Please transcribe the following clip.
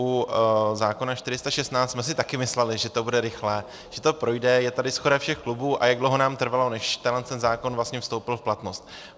U zákona 416 jsme si také mysleli, že to bude rychlé, že to projde, je tady shoda všech klubů, a jak dlouho nám trvalo, než tenhle zákon vstoupil v platnost.